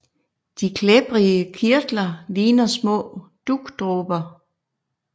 De klæbrige kirtler ligner små dugdråber